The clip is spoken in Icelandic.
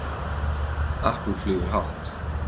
Apple flýgur hátt